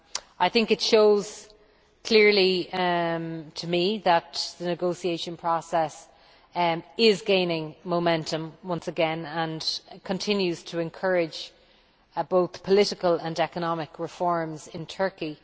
I think it shows clearly that the negotiation process is gaining momentum once again and that it continues to encourage both political and economic reforms in Turkey.